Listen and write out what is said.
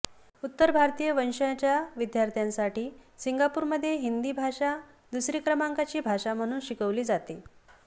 उत्तर भारतीय वंशाच्या विद्यार्थ्यांसाठी सिंगापुरमध्ये हिंदी भाषा दुसरी क्रमांकाची भाषा म्हणून शिकविली जाते